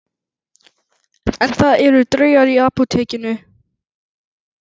En það eru draugar í Apótekinu